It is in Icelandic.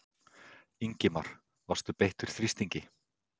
Ingimar: Varst þú beittur þrýstingi?